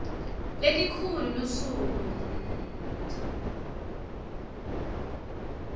lelikhulu lusuku nnnnnnnnd